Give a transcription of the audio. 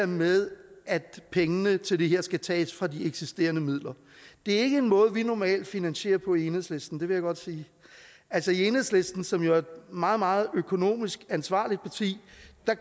med at pengene til det her skal tages fra de eksisterende midler det er ikke en måde vi normalt finansierer på i enhedslisten det vil jeg godt sige altså i enhedslisten som jo er et meget meget økonomisk ansvarligt parti